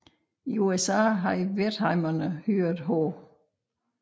I USA havde Wertheimerne hyret H